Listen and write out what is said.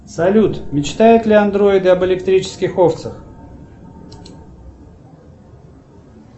салют мечтают ли андроиды об электрических овцах